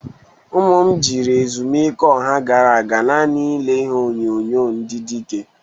Ụmụaka m jịrị ezumike ọha a gara aga nani na-ile ihe onyonyo ndị dịke.